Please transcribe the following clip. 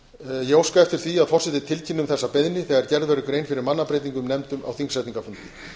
ég óska eftir því að forseti tilkynni um þessa beiðni þegar gerð verður grein fyrir mannabreytingum í nefndum á þingsetningarfundi